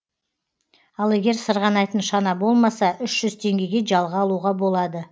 ал егер сырғанайтын шана болмаса үш жүз теңгеге жалға алуға болады